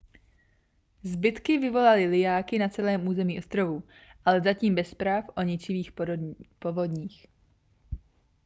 zbytky vyvolaly lijáky na celém území ostrovů ale zatím bez zpráv o ničivých povodních